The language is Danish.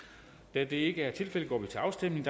da det ikke er tilfældet går vi til afstemning